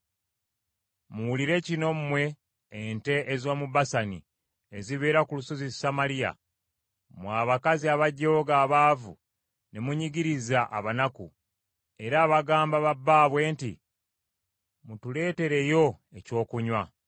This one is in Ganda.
Muwulire kino mmwe ente ez’omu Basani ezibeera ku Lusozi Samaliya, mmwe abakazi abajooga abaavu ne munyigiriza abanaku, era abagamba ba bbaabwe nti, “Mutuletereyo ekyokunywa.”